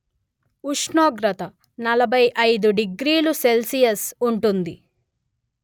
ఉష్ణోగ్రత నలభై అయిదు డిగ్రీలు సెల్షియస్ ఉంటుంది